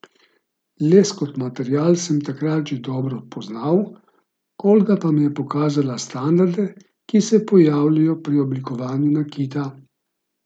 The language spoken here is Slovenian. Les kot material sem takrat že dobro poznal, Olga pa mi je pokazala standarde, ki se pojavljajo pri oblikovanju nakita.